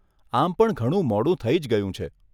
આમ પણ ઘણું મોડું થઇ જ ગયું છે.